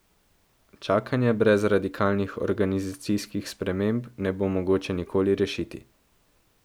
Čakanja brez radikalnih organizacijskih sprememb ne bo mogoče nikoli rešiti.